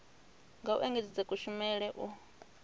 nga u engedzedza kushumele u